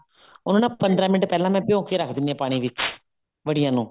ਉਹ ਨਾ ਪੰਦਰਾਂ ਮਿੰਟ ਪਹਿਲਾਂ ਮੈਂ ਭਿਓਂ ਕੇ ਰੱਖ ਦਿੰਨੀ ਆ ਪਾਣੀ ਵਿੱਚ ਵੜੀਆਂ ਨੂੰ